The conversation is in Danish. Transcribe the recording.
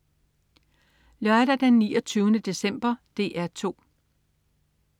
Lørdag den 29. december - DR 2: